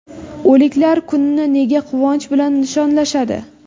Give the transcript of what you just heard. O‘liklar kunini nega quvonch bilan nishonlashadi?